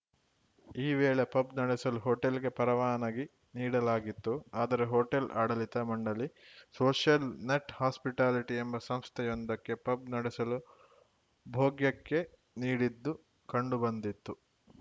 ಈ ವೇಳೆ ಪಬ್‌ ನಡೆಸಲು ಹೋಟೆಲ್‌ಗೆ ಪರವಾನಗಿ ನೀಡಲಾಗಿತ್ತು ಆದರೆ ಹೋಟೆಲ್‌ ಆಡಳಿತ ಮಂಡಳಿ ಸೋಷಿಯಲ್‌ ನೆಟ್‌ ಹಾಸ್ಪಿಟಾಲಿಟಿ ಎಂಬ ಸಂಸ್ಥೆಯೊಂದಕ್ಕೆ ಪಬ್‌ ನಡೆಸಲು ಭೋಗ್ಯಕ್ಕೆ ನೀಡಿದ್ದು ಕಂಡು ಬಂದಿತ್ತು